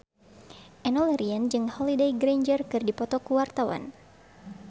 Enno Lerian jeung Holliday Grainger keur dipoto ku wartawan